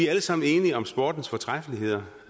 alle sammen enige om sportens fortræffeligheder